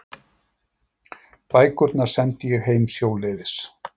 Bækurnar sendi ég heim sjóleiðis.